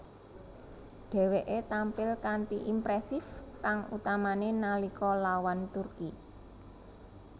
Dheweke tampil kanthi impresif kang utamane nalika lawan Turki